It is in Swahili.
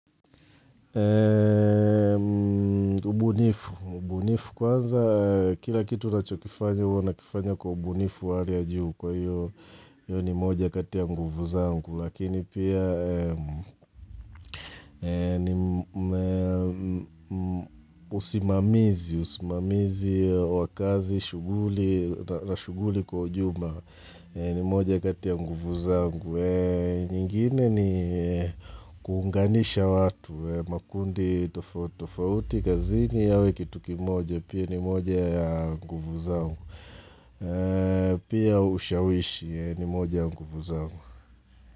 Mbunifu, mbunifu kwanza kila kitu nachokifanya uwa nakifanya kwa ubunifu wa hali ya juu kwa hiyo ni moja kati ya nguvu zangu lakini pia usimamizi, usimamizi wa kazi na shuguli kwa ujumla ni moja kati ya nguvu zangu. Nyingine ni kuunganisha watu makundi tofauti kazini yawe kitu kimoja Pia ni moja ya nguvu zangu Pia ushawishi ni moja ya nguvu zangu.